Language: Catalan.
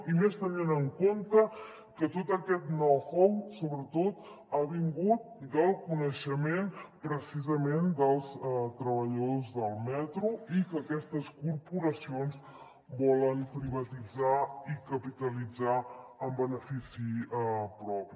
i més tenint en compte que tot aquest know how sobretot ha vingut del coneixement precisament dels treballadors del metro i que aquestes corporacions volen privatitzar i capitalitzar en benefici propi